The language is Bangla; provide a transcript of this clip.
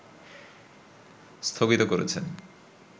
স্থগিত করেছেন